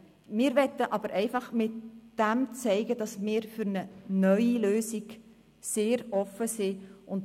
Wir wollen aber dadurch zeigen, dass wir für eine neue Lösung sehr offen sind.